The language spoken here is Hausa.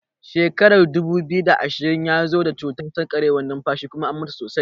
Shekarar dubu biyu da ashirin ya zo da cutar sarkewar nunfashi kuma an mutu sosai.